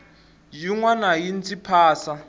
yin wana yi ndzi phasa